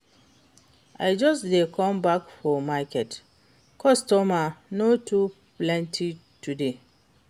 I just dey come back for market, customer no too plenty today.